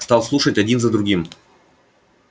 стал слушать один за другим